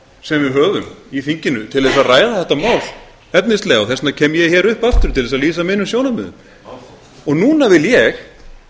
sem við höfum í þinginu til að ræða þetta mál efnislega og þess vegna kem ég hingað upp aftur til að lýsa mínum sjónarmiðum núna vil ég